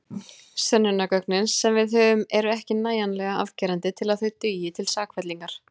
Sönnunargögnin sem við höfum eru ekki nægjanlega afgerandi til að þau dugi til sakfellingar.